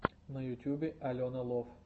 на ютубе алена лов